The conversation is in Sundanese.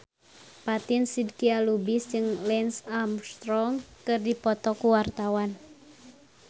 Fatin Shidqia Lubis jeung Lance Armstrong keur dipoto ku wartawan